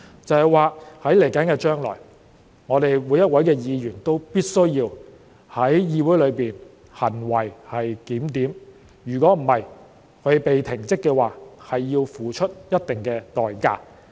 這就是說，將來每一位議員都必須在議會內行為檢點，否則，他們被停職的話，他們要付出一定的代價。